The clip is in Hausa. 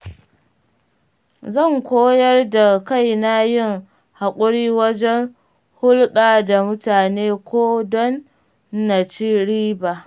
Zan koyar da kaina yin haƙuri wajen hulɗa da mutane ko don naci riba.